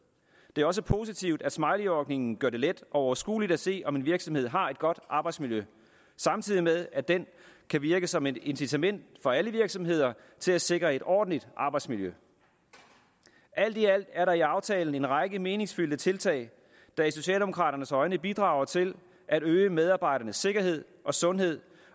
det er også positivt at smileyordningen gør det let og overskueligt at se om en virksomhed har et godt arbejdsmiljø samtidig med at den kan virke som et incitament for alle virksomheder til at sikre et ordentligt arbejdsmiljø alt i alt er der i aftalen en række meningsfyldte tiltag der i socialdemokraternes øjne bidrager til at øge medarbejdernes sikkerhed og sundhed